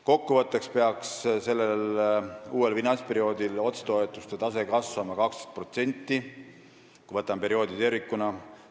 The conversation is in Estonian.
Kokku võttes peaks otsetoetuste tase uuel finantsperioodil kasvama 12%, kui võtame perioodi tervikuna.